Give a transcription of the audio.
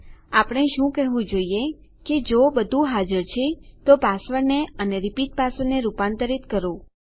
આપણે શું કહેવું જોઈએ કે જો બધું હાજર છે તો પાસવર્ડને અને રીપીટ પાસવર્ડને રૂપાંતરીત કરો